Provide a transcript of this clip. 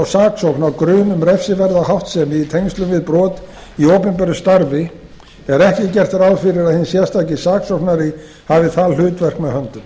á grun um refsiverða háttsemi í tengslum við brot í opinberu starfi er ekki gert ráð fyrir að hinn sérstaki saksóknari hafi það hlutverk með höndum